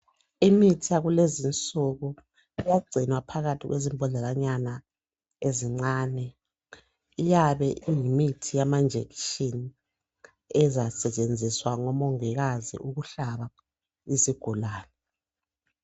Imithi yakulezi insuku iyagcinwa phakathi kwezimbodlela nyana ezincane. Iyabe iyimithi yamajekiseni ezasetshenziswa ngomongikazi ukuhlaba isigulane.